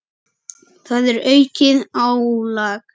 Það er aukið álag.